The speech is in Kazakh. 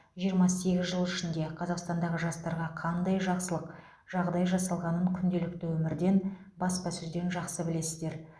жиырма сегіз жыл ішінде қазақстандағы жастарға қандай жақсылық жағдай жасалғанын күнделікті өмірден баспасөзден жақсы білесіздер